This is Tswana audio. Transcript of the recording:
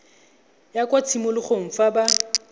ya kwa tshimologong fa ba